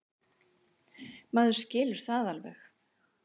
Maður skilur það alveg.